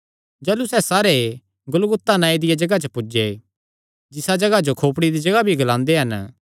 तिसा जगाह जिसियो गुलगुता नांऐ दिया जगाह मतलब खोपड़ी दी जगाह भी ग्लांदे हन पुज्जी करी